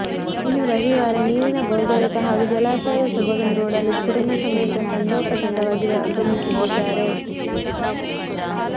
ಇನ್ನೂ ರವಿವಾರ ನೀರಿನ ಭೋರ್ಗರೆತ ಹಾಗೂ ಜಲಾಶಯದ ಸೊಬಗನ್ನು ನೋಡಲು ಕುಟುಂಬ ಸಮೇತ ತಂಡೋಪ ತಂಡವಾಗಿ ಆಗಮಿಸುತ್ತಿದ್ದಾರೆ